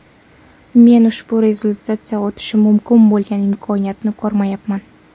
Men ushbu rezolyutsiya o‘tishi mumkin bo‘lgan imkoniyatni ko‘rmayapman”.